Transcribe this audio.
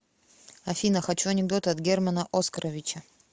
афина хочу анекдоты от германа оскоровича